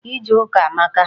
Ije ụka amaka.